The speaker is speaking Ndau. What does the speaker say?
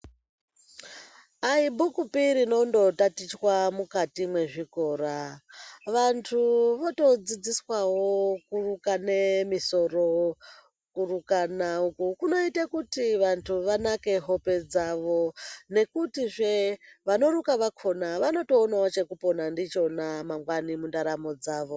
Aibhukupi rinondotatichwa mukati mwezvikora, vanhu votodzidziswawo kurukane misoro. Kurukana uku kunoita kuti vantu vanake hope dzavo nekutizve vanoruka vakhona vanotoonawo chekupona ndicho mangwani mundaramo dzavo.